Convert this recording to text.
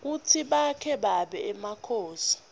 kutsi bake baba emakhosi